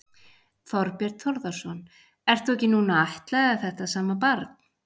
Þorbjörn Þórðarson: Ert þú ekki núna að ættleiða þetta sama barn?